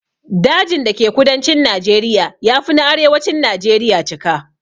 Dajin da ke kudancin Najeriya ya fi na arewacin najeriya cika.